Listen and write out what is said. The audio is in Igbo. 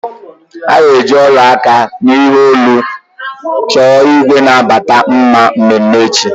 A ga-eji ọla aka na ihe olu chọọ igwe na-abata mma mmeme echi.